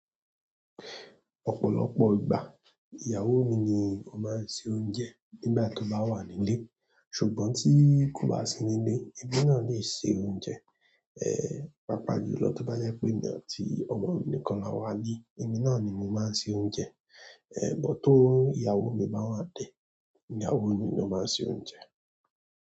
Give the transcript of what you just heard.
Ọ̀pọ̀lọpọ̀ ìgbà, ìyàwó mi ni ó máa ń se oúnjẹ nígbà tó bá wà nílé. Ṣùgbọ́n tí kò bá sí nílé, ẹbí náà lè se oúnjẹ. Pàápàá jùlọ tó bá jẹ́ pé èmi àti ọmọ mi nìkan la wà nílé, èmi náà ni mo máa ń se oúnjẹ. But tó ìyàwó mi bá wa dé, ìyàwó mi ló máa ń se oúnjẹ.